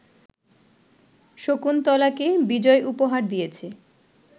শকুন্তলাকে বিজয় উপহার দিয়েছে